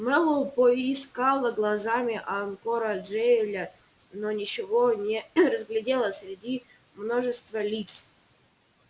мэллоу поискала глазами анкора джаэля но ничего не разглядела среди множества лиц